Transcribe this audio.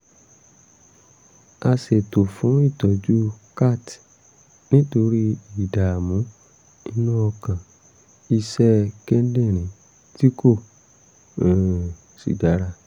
a ṣètò fún ìtọ́jú cath nítorí ìdààmú inú ọkàn iṣẹ́ kíndìnrín tí kò um sì dára